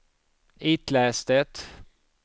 itläs det